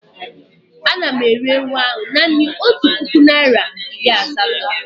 Ana m ere ewu a naanị otu puku naịra iri asatọ